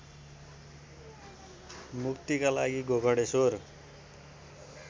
मुक्तिका लागि गोकर्णेश्वर